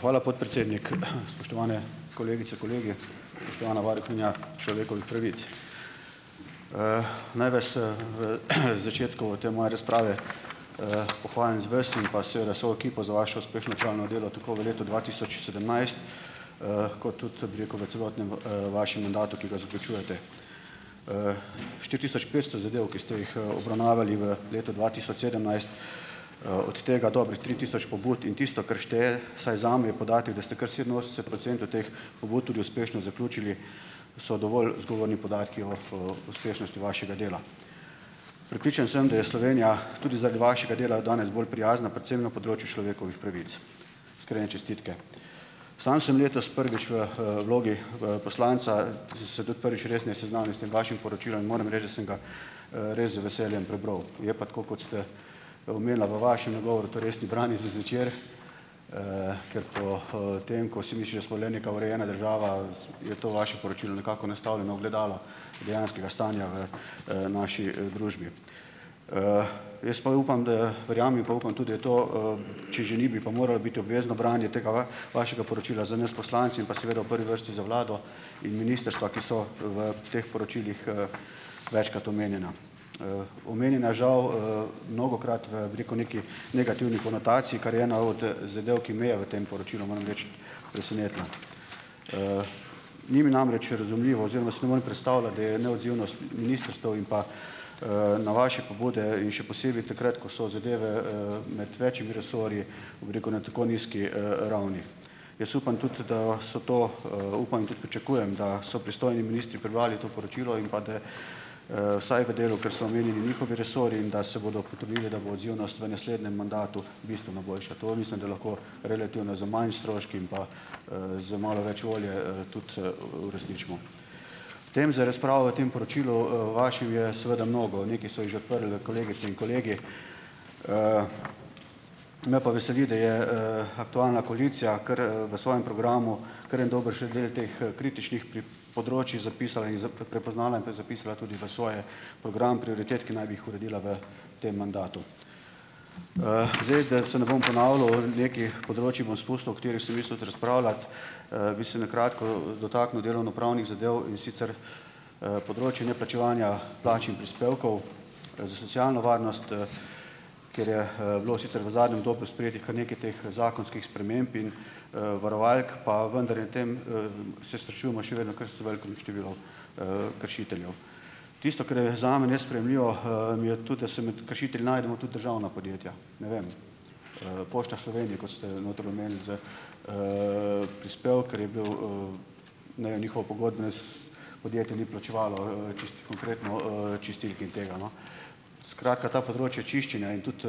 Hvala, podpredsednik. Spoštovane kolegice, kolegi, spoštovana varuhinja človekovih pravic. Naj vas, v, začetku te moje razprave, pohvalim vas in pa seveda vso ekipo za vašo uspešno opravljeno delo tako v letu dva tisoč sedemnajst, kot tudi, bi rekel, v celotnem, vašem mandatu, ki ga zaključujete. štiri tisoč petsto zadev, ki ste jih, obravnavali v letu dva tisoč sedemnajst, od tega dobrih tri tisoč pobud in tisto, kar šteje, vsaj zame je podatek, da ste kar sedeminosemdeset procentov teh pobud tudi uspešno zaključili. So dovolj zgovorni podatki o, uspešnosti vašega dela. Prepričan sem, da je Slovenija tudi zaradi vašega dela danes bolj prijazna predvsem na področju človekovih pravic. Iskrene čestitke. Sam sem letos prvič v, vlogi v poslanca in sem se tudi prvič resneje seznanil s tem vašim poročilom in moram reči, da sem ga, res z veseljem prebral. Je pa tako, kot ste, omenila v vašem nagovoru, to res ni branje za zvečer, ker po, tem, ko si misliš, da smo le neka urejena država, je to vašem poročilu nekako nastavljeno ogledalo dejanskega stanja v, naši, družbi. Jaz pa upam, da verjamem pa upam tudi to, če že ni, bi pa moral biti obvezno branje tega vašega poročila za nas poslance in pa seveda v prvi vrsti za vlado in ministrstva, ki so v teh poročilih, večkrat omenjena. Omenjena žal, mnogokrat v, bi rekel, neki negativni konotaciji, kar je ena od, zadev, ki me je v tem poročilu, moram reči, presenetila. Ni mi namreč razumljivo oziroma si ne morem predstavljati, da je neodzivnost ministrstev in pa, na vaše pobude in še posebej takrat, ko so zadeve, med večimi resorji, bi rekel, na tako nizki, ravni. Jaz upam tudi, da so to, upam in tudi pričakujem, da so pristojni ministri prebrali to poročilo in pa da, vsaj v delu, kar so omenjeni njihovi resorji, in da se bodo potrudili, da bo odzivnost v naslednjem mandatu bistveno boljša. To mislim, da lahko relativno z manj stroški in pa, z malo več volje, tudi, uresničimo. Tem za razpravo v tem poročilu, vašem je seveda mnogo. Nekaj so jih že odprli kolegice in kolegi. Me pa veseli, da je, aktualna koalicija kar, v svojem programu kar en dobršen del teh, kritičnih področij zapisala in prepoznala in to je zapisala tudi v svoj program prioritet, ki naj bi jih uredila v tem mandatu. Zdaj, da se ne bom ponavljal, nekaj področij bom spustil, katera sem mislil tudi razpravljati. Bi se na kratko, dotaknil delovnopravnih zadev, in sicer, področje neplačevanja plač in prispevkov za socialno varnost. Ker je, bilo sicer v zadnjem obdobju sprejetih kar nekaj teh zakonskih sprememb in, varovalk, pa vendar je v tem, se srečujemo še vedno kar s velikim številom, kršiteljev. Tisto, kar je zame nesprejemljivo, mi je tudi, da se med kršitelji najdemo tudi državna podjetja. Ne vem, Pošta Slovenija, kot ste noter omenili. Za, prispevke je bil, ne vem, njihovo pogodbe podjetje ni plačevalo, čisto konkretno, čistilki in tega, no. Skratka, ta področja čiščenja in tudi,